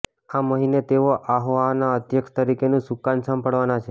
આ મહિને તેઓ આહોઆના અધ્યક્ષ તરીકેનું સુકાન સંભાળવાના છે